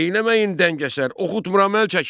Eyləməyin dəngəsər, oxutmuram əl çəkin!